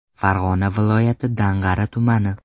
Farg‘ona viloyati Dang‘ara tumani.